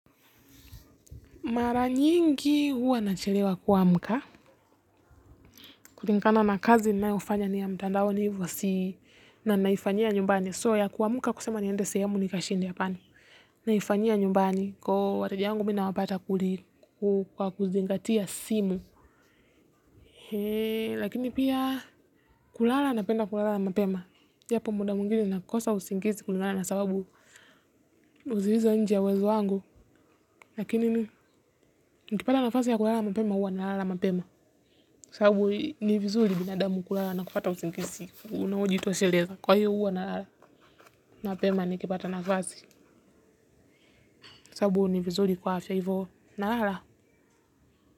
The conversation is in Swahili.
Mara nyingi huwa nachelewa kuamka. Kulingana na kazi ninayofanya ni ya mtandaoni hivyo si na ninaifanyia nyumbani. So ya kuamka kusema ni ende sehemu ni kashinde hapana. Naifanyia nyumbani kwa wateja wangu mimi nawapata kwa kuzingatia simu. Lakini pia kulala na penda kulala na mapema. Yapo muda mwingine nakosa usingizi kulingana na sababu zilizo nje ya uwezo wangu. Lakini nikipata na fasi ya kulala mapema huwa na lala mapema. Sababu ni vizuri binadamu kulala na kupata usingizi. Unaojitosheleza. Kwa hiyo huwa na lala. Mapema nikipata nafasi. Sababu ni vizuri kwa afya hivyo. Na lala.